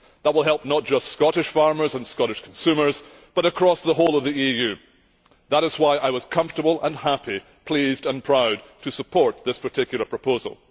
That will help not just Scottish farmers and Scottish consumers, but across the whole of the EU. That is why I was comfortable and happy, pleased and proud, to support this particular proposal.